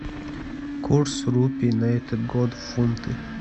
курс рупий на этот год в фунты